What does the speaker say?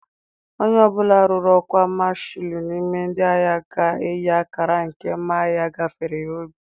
Onye ọ bụla ruru ọkwa Mashalụ n'ime ndị agha ga-eyi akara nke mma agha gafere ya obi.